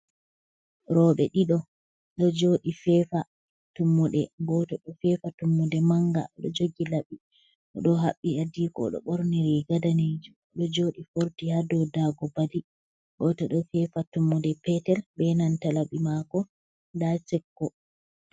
Rooɓe ɗiɗo, ɗo jooɗii feefa tummude, goto ɗo feefa tummude manga, ɗo jogii laɓi, o ɗo haɓɓi adiko, ɗo ɓorni riga daneejum, ɗo jooɗii forti haa doo daago bali, gooto ɗo fefa tummude petel, be nanta laɓi maako ndo sekko.